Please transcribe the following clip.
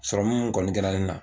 min kɔni kɛra ne na